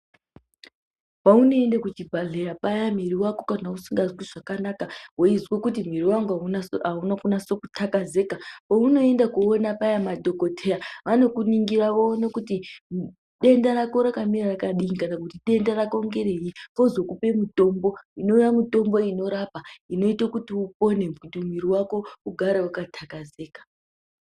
Paunoende kuchibhahleya payani mwiri wako usingazwi zvakanaka weizwe kuti muiri wangu auna kunasa kutakazeka peunoenda. Madhokodheya anokuningira woone kuti denda rako rakamira rakadini kana kuti denda rako ngereyi vozokupe mutombo inova mitombo inorapa inoite kuti upone kuti mwiri wako ugare wakatakazeka